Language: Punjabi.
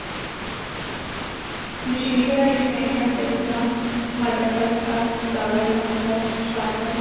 ਮਸ਼ੀਨੀ ਕਢਾਈ ਚ ਮੈਂ ਟਾਂਕਿਆਂ ਜਿੱਦਾ ਮਟਰ ਟਾਂਕਾ ਚਾਵਲ ਟਾਂਕਾ ਸ਼੍ਰ੍ਟਣ